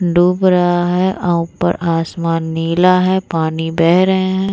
डूब रहा है और अ ऊपर आसमान नीला है पानी बह रहे हैं।